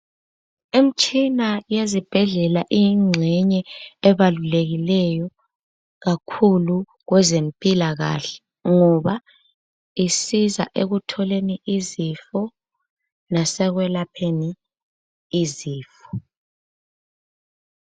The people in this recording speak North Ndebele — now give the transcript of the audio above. Imitshina yezibhedlela iyingxenye ebalulekileyo kakhulu kwezempilakahle ngoba isiza ekutholeni izifo lasekwelapheni izifo.